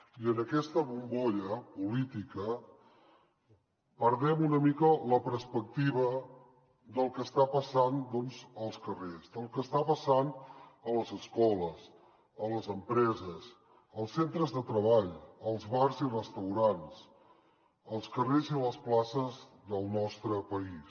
i en aquesta bombolla política perdem una mica la perspectiva del que està passant doncs als carrers del que està passant a les escoles a les empreses als centres de treball als bars i restaurants als carrers i les places del nostre país